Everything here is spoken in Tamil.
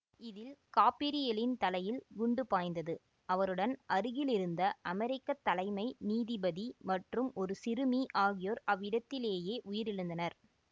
இதில் காபிரியெலின் தலையில் குண்டு பாய்ந்தது அவருடன் அருகிலிருந்த அமெரிக்க தலைமை நீதிபதி மற்றும் ஒரு சிறுமி ஆகியோர் அவ்விடத்திலேயே உயிரிழந்தனர்